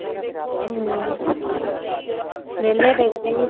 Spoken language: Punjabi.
ਹਮ ਵਿਹਲੇ ਬੈਠੇ ਸੀ